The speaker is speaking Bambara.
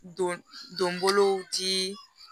Don donbolow dii